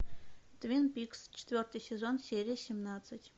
твин пикс четвертый сезон серия семнадцать